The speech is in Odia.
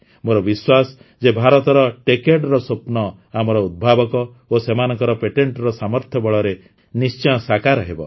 ମୋର ବିଶ୍ୱାସ ଯେ ଭାରତର Techadeର ସ୍ୱପ୍ନ ଆମର ଉଦ୍ଭାବକ ଓ ସେମାନଙ୍କ ପେଟେଣ୍ଟର ସାମର୍ଥ୍ୟ ବଳରେ ନିଶ୍ଚୟ ସାକାର ହେବ